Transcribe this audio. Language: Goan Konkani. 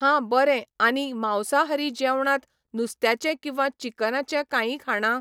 हां बरें आनी मांसाहारी जेवणांत नुस्त्याचें किंवा चिकनाचें कांयी खाणां